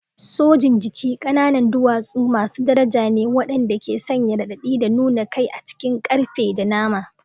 Sojin jiki ƙananan duwatsu masu daraja ne waɗanda ke sanya raɗaɗi da nuna kai a cikin ƙarfe da nama.